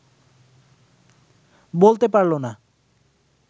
বলতে পারল না